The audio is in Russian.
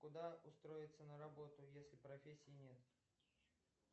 куда устроиться на работу если профессии нет